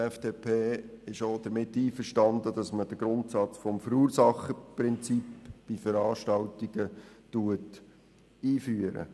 Die FDP ist auch damit einverstanden, dass man den Grundsatz des Verursacherprinzips bei Veranstaltungen einführt.